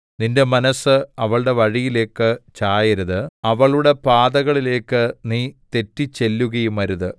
നിന്റെ മനസ്സ് അവളുടെ വഴിയിലേക്ക് ചായരുത് അവളുടെ പാതകളിലേക്ക് നീ തെറ്റിച്ചെല്ലുകയുമരുത്